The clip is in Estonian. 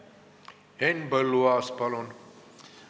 Henn Põlluaas, palun!